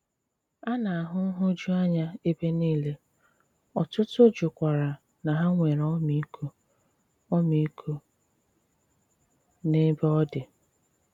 A na-ahụ nhụjuanya ebe niile, ọ̀tùtù jụkwara na hà nwere ọ̀mììkò ọ̀mììkò n'ebe ọ̀ dị.